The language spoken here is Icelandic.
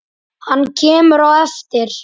Hann kemur á eftir.